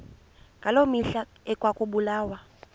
ngaloo mihla ekwakubulawa